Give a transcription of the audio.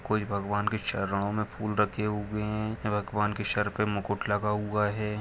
कोई भगवान के चरणों में फूल रखे हुए है भगवान के सर पे मुकुट लगा हुआ है।